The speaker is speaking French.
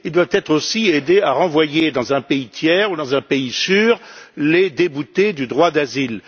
Ils doivent être aussi aidés à renvoyer dans un pays tiers ou dans un pays sûr les déboutés du droit d'asile.